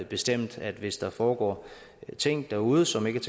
bestemt at hvis der foregår ting derude som ikke